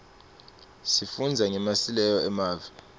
sifundza ngemasileo emave